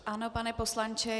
Ano, pane poslanče.